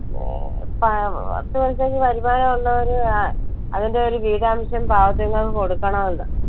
പ~പത്ത് പൈസയ്ക്ക് വരുമാനം ഉള്ളവര് ആഹ് അതിന്റെ ഒരു വീതാംശം പാവത്തുങ്ങൾക്ക് കൊടുക്കണവല്ലോ.